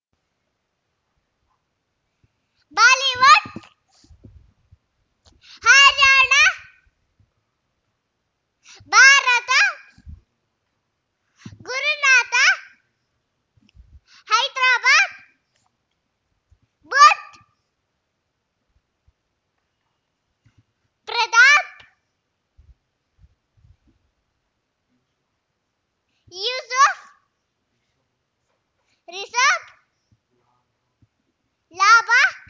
Bollywood ಹೈರಾಣ ಭಾರತ ಗುರುನಾಥ ಹೈದರಾಬಾದ್ ಬುಧ್ ಪ್ರದಾ ಪ್ ಯೂಸುಫ್ ರಿಷಬ್ ಲಾಭ